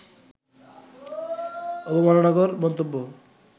অবমাননাকর মন্তব্য